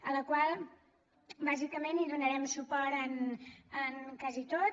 a la qual bàsicament hi donarem suport en quasi tot